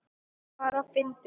Bara fyndið.